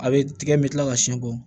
A bɛ tigɛ n bɛ tila ka siyɛn bɔ